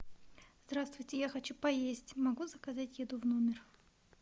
здравствуйте я хочу поесть могу заказать еду в номер